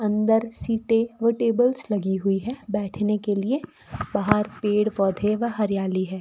अंदर सीटें व टेबल्स लगी हुई है बैठने के लिए बाहर पेड़ पौधे व हरियाली है।